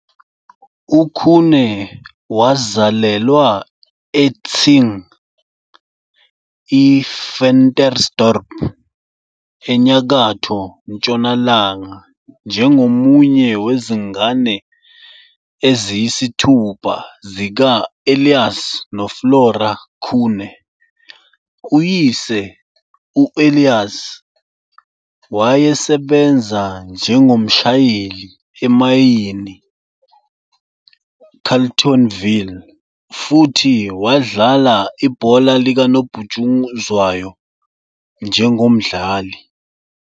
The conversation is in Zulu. UKhune wazalelwa eTsing, I-Ventersdorp ENyakatho Ntshonalanga njengomunye wezingane eziyisithupha zika-Elias noFlora Khune. Uyise u-Elias, wayesebenza njengomshayeli emayini Carletonville futhi wadlala ibhola likanobhutshuzwayo njengomdlali.